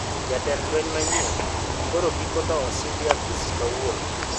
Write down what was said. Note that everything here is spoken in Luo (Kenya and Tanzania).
Jatend lweny manyien koro giko to osidh e apis kawuono